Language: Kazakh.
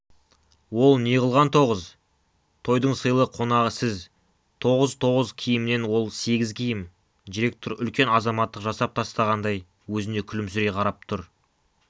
ол неғылған тоғыз тойдың сыйлы қонағы сіз тоғыз-тоғыз киімнен он сегіз киім директор үлкен азаматтық жасап тастағандай өзіне күлімсірей қарап тұр